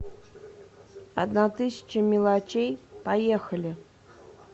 одна тысяча мелочей поехали